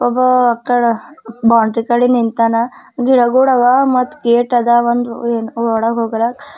ಒಬ್ಬ ನಿಂತಾನ ಗಿಡುಗೋಳವ ಮತ್ತ್ ಗೇಟ್ ಅದ ಒಂದ್ ಒಳಗ ಹೊಗಲಾಕ್.